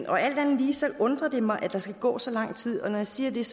og alt andet lige undrer det mig at der skal gå så lang tid når jeg siger det er